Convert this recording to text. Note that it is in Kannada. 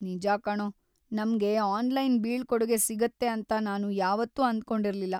ನಿಜ ಕಣೋ, ನಮ್ಗೆ ಆನ್ಲೈನ್‌ ಬೀಳ್ಕೊಡುಗೆ ಸಿಗುತ್ತೆ ಅಂತ ನಾನು ಯಾವತ್ತೂ ಅಂದ್ಕೊಂಡಿರ್ಲಿಲ್ಲ.